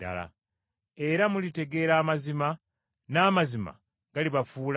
Era mulitegeera amazima, n’amazima galibafuula ba ddembe.”